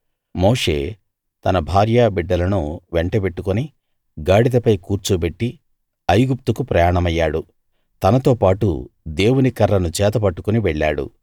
మోషే తన భార్యబిడ్డలను వెంటబెట్టుకుని గాడిదపై కూర్చోబెట్టి ఐగుప్తుకు ప్రయాణమయ్యాడు తనతోబాటు దేవుని కర్రను చేతబట్టుకుని వెళ్ళాడు